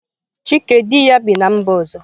Chike di ya bi na mba ọzọ.